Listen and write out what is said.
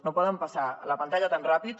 no poden passar la pantalla tan ràpid